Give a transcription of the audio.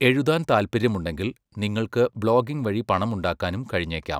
എഴുതാൻ താൽപ്പര്യമുണ്ടെങ്കിൽ, നിങ്ങൾക്ക് ബ്ലോഗിംഗ് വഴി പണമുണ്ടാക്കാനും കഴിഞ്ഞേക്കും.